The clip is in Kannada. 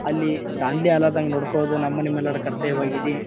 ಅಲ್ಲಿ ದಾಂದ್ಲಿ ಆಲಾಲಾದಂಗ್ ನೋಡ್ಕೊಳ್ಳೋದು ನಮ್ಮ ನಿಮ್ಮೆಲ್ಲರ ಕರ್ತವ್ಯವಾಗಿದೆ.